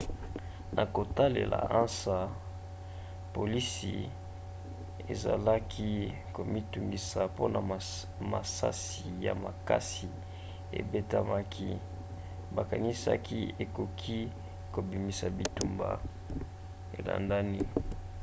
na kotalela ansa polisi ezalaki komitungisa mpona masasi ya makasi ebetamaki bakanisaki ekoki kobimisa bitumba elandani